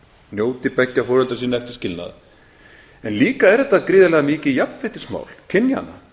njóti beggja foreldra sinna eftir skilnað en líka er þetta gríðarlega mikið jafnréttismál kynjanna